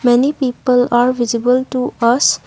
many people are visible to us.